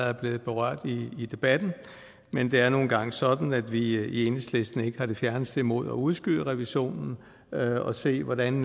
er blevet berørt i debatten men det er nu engang sådan at vi i enhedslisten ikke har det fjerneste imod at udskyde revisionen og se hvordan